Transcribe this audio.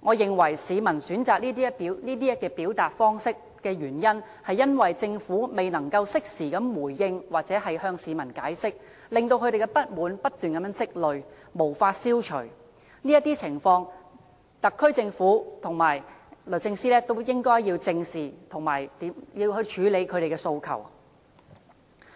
我認為市民選擇這些表達方式的原因，是政府未能適時作回應或向市民解釋，令他們的不滿不斷積累，無法消除，這些情況特區政府和律政司也應該正視，並處理他們的訴求。